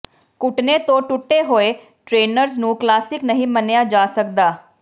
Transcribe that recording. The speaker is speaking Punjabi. ਘੁਟਣੇ ਤੋਂ ਟੁੱਟੇ ਹੋਏ ਟ੍ਰੇਨਰਜ਼ ਨੂੰ ਕਲਾਸਿਕ ਨਹੀਂ ਮੰਨਿਆ ਜਾ ਸਕਦਾ